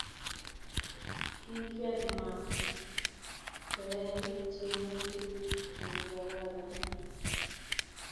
Kigigeer Mach koyae tyemutik negararan